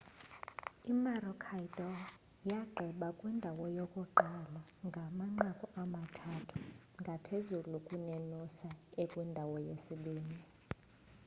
imaroochydore yagqiba ikwindawo yokuqala ngamanqaku amathandathu ngaphezulu kunenoosa ekwindawo yesibinini